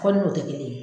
Fɔ ni o tɛ kelen ye